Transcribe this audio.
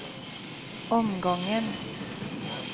omgången